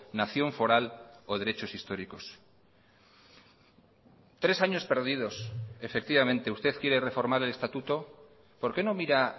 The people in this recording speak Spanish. nación foral o derechos históricos tres años perdidos efectivamente usted quiere reformar el estatuto por qué no mira